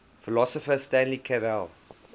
philosopher stanley cavell